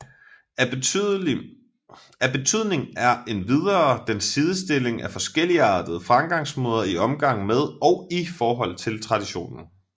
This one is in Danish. Af betydning er endvidere den sidestilling af forskelligartede fremgangsmåder i omgang med og i forhold til traditionen